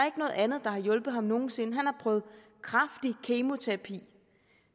ikke noget andet der har hjulpet ham nogen sinde han har prøvet kraftig kemoterapi